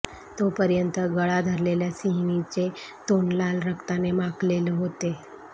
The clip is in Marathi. तोपर्यंत गळा धरलेल्या सिंहीणीचे तोंड लाल रक्ताने माखलेलं होते